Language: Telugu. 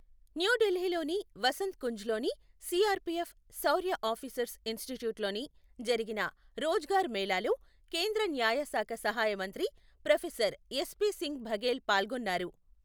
న్యూఢిల్లీలోని వసంత్ కుంజ్లోని సీఆర్ఫీఎఫ్ శౌర్య ఆఫీసర్స్ ఇన్స్టిట్యూట్లోని జరిగిన రోజ్గార్ మేళాలో కేంద్ర న్యాయ శాఖ సహాయ మంత్రి ప్రొఫెసర్ ఎస్పి సింగ్ బఘెల్ పాల్గొన్నారు.